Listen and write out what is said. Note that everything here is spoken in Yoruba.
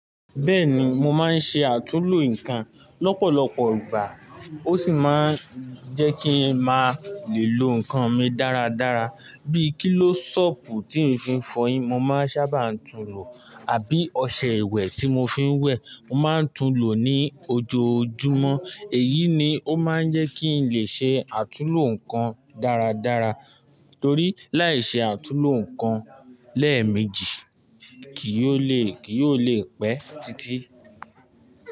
Bẹ́ẹ̀ni mo máa ń ṣe àtúlo nǹkan lọ́pọ̀lọpọ̀ ìgbà ó sì máa ń jẹ́ kí n máa le lo nǹkan mi dáradára. Bíi kílósọ̀pù tí ń fi ń fọyín, mo máa ń sábà tún lo àbí ọṣẹ ìwẹ̀ tí mo fi ń wẹ̀ mo máa ń tún lo ní ojoojúmọ́. Èyí ni ó máa ń jẹ́ kí n lè ṣe àtúlo nǹkan dáradára torí láìṣe àtúlo nǹkan lẹ́ẹ̀mejì kì yóò le, kì yóò le pẹ́ títí.